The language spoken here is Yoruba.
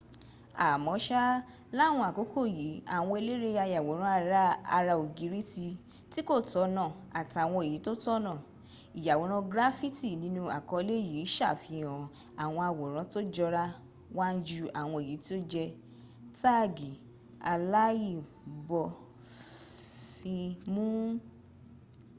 àmọ́ṣá láwọn àkókò yìí àwọn eléré ayàwòrán ara ògiri tí kò tọ̀nọ̀ àtàwọn èyí tó tọ̀nà ìyàwòrán graffiti nínú àkọọ́lẹ̀ yìí sàfihàn àwọn àwòrán tó jọra wan jú àwọn èyí tí ó jẹ́ táàgì aláìbófinmun